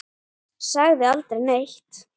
Ég sagði aldrei neitt.